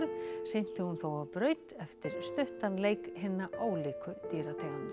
synti hún þó á braut eftir stuttan leik hinna ólíku dýrategunda